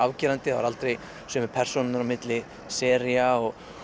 það voru aldrei sömu persónur á milli sería